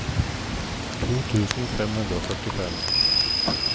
to tusen fem hundre og førtifem